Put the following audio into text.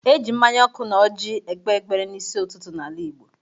E ji mmanya ọkụ na ọjị ekpe ekpere n'isi ụtụtụ n'ala Igbo.